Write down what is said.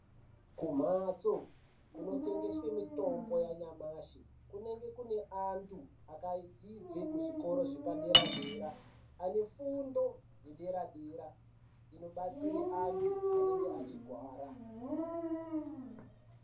Kumhatso kunotengeswe mitombo yanyamashi kunenge kune antu akadzidze zvikoro zvepadera-dera. Ane fundo yedera-dera inobatsire antu anenge achigwara.